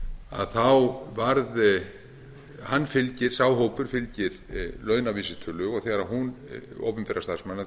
að á þessum árum varð sá hópur fylgir launavísitölu opinberra starfsmanna og